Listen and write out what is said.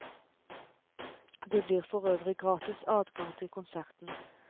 Det blir for øvrig gratis adgang til konserten.